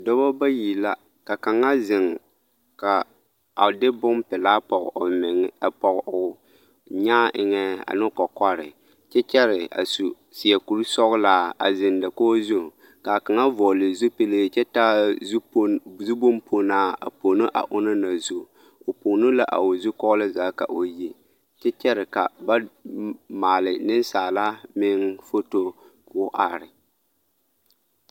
Dɔbɔ bayi la ka kaŋa zeŋ a de bompelaa pɔge meŋ o nyaa eŋɛ ane o kɔkɔre kyɛ kyɛre a su seɛ kuri sɔgelaa a zeŋ dakogi zu k'a kaŋa vɔgele zupili kyɛ taa zu bomponaa a pono a onaŋ na zu, o pono la a o zukɔɔloŋ zaa ka o yi kyɛ kyɛre ka ba maale nensaala meŋ foto k'o are.